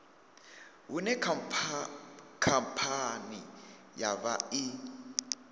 hune khamphani ya vha i